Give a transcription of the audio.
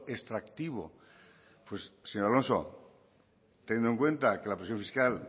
extractivo pues señor alonso teniendo en cuenta que la presión fiscal